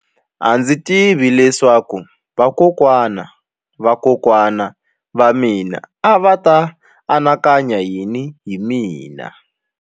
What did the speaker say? A ndzi tivi leswaku vakokwanavavakokwana va mina a va ta anakanya yini hi mina.